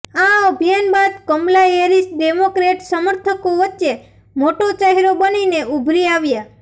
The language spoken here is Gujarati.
આ અભિયાન બાદ કમલા હેરિસ ડેમોક્રેટ સમર્થકો વચ્ચે મોટો ચહેરો બનીને ઉભરી આવ્યા